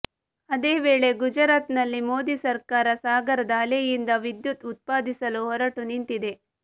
ಅದೇ ವೇಳೆ ಗುಜರಾತ್ ನಲ್ಲಿ ಮೋದಿ ಸರ್ಕಾರ ಸಾಗರದ ಅಲೆಯಿಂದ ವಿದ್ಯುತ್ ಉತ್ಪಾದಿಸಲು ಹೊರಟು ನಿಂತಿದೆ